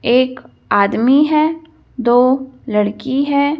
एक आदमी है दो लड़की है।